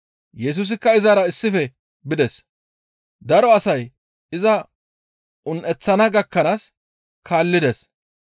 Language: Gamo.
Yesusikka izara issife bides. Daro asay iza un7eththana gakkanaas kaallides.